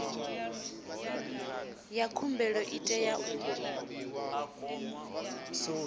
ya khumbelo i tea u